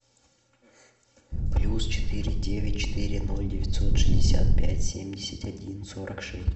плюс четыре девять четыре ноль девятьсот шестьдесят пять семьдесят один сорок шесть